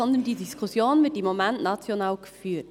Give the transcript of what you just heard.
Vielmehr wird diese Diskussion im Moment national geführt.